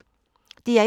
DR1